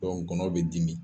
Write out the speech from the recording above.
Dɔnku nkɔnɔ bɛ dimi